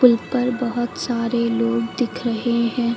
पुल पर बहोत सारे लोग दिख रहे हैं।